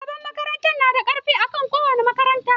Shugaban makaranta na da ƙarfi akan kowa a makaranta.